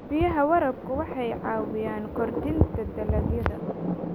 Biyaha waraabku waxay caawiyaan kordhinta dalagyada.